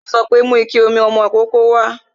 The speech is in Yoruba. Yo sọ pé "Mú ike ìmumi ọmọ ìkókó wá"